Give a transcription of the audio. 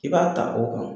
I b'a ta o kan